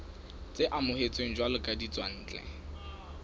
tse amohetsweng jwalo ka ditswantle